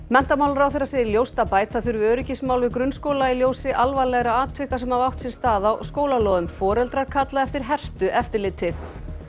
menntamálaráðherra segir ljóst að bæta þurfi öryggismál við grunnskóla í ljósi alvarlegra atvika sem hafa átt sér stað á skólalóðum foreldrar kalla eftir hertu eftirliti